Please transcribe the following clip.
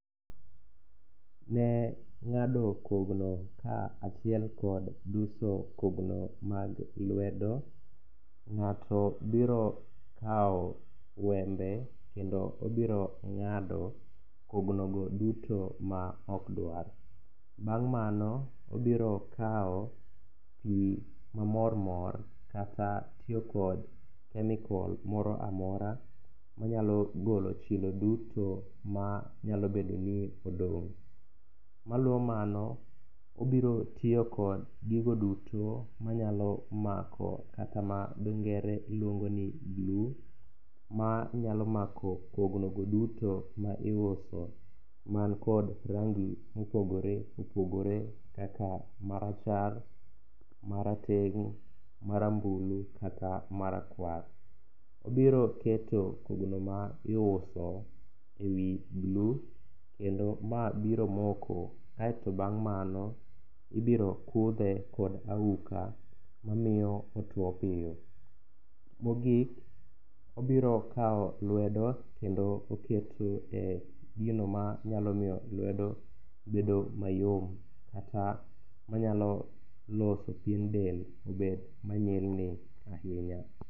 Ne ng'ado kogno kaachiel kod duso kogno mag lwedo, ng'ato biro kawo wembe kendo obiro ng'ado kognogo duto maok dwar. Bang' mano, obiro kawo pi mamormor kata tiyo kod kemikol moro amora manyalo golo chilo duto manyalobedo ni odong'. Ma luwo mano, obiro tiyo kod gigo duto manyalo mako kata ma dho ngere luongo ni glue manyalo mako kognogo duto ma iuso mankod rangi mopogore opogore kaka marachar, marateng', marambulu kata marakwar. Obiro keto kogno ma iuso e wi glue kendo ma biro moko kaeto bang' mano ibiro kudhe kod auka mamiyo otuo piyo. Mogik, obiro kawo lwedo kendo oketo e gino manyalo miyo lwedo bedo mayom kata manyalo loso pien del obed manyilni ahinya.